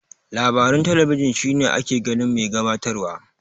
Labaran talabijin shine ake ganin mai gabatar wa.